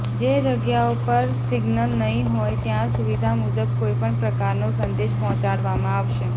જે જગ્યાઓ પર સિંગ્નલ નહીં હોય ત્યાં સુવિધા મુજબ કોઈપણ પ્રકારનો સંદેશ પહોંચાડવામાં આવશે